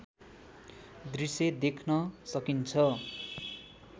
दृश्य देख्न सकिन्छ